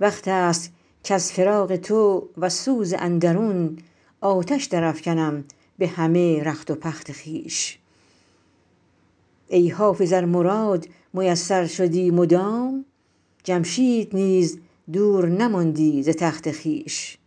وقت است کز فراق تو وز سوز اندرون آتش درافکنم به همه رخت و پخت خویش ای حافظ ار مراد میسر شدی مدام جمشید نیز دور نماندی ز تخت خویش